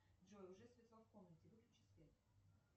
джой уже светло в комнате выключи свет